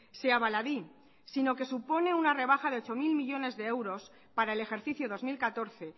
sea baladí sino que supone una rebaja de ocho mil millónes de euros para el ejercicio dos mil catorce